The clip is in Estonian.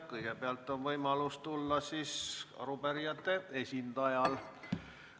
Kõigepealt on võimalus kõnepulti tulla arupärijate esindajal.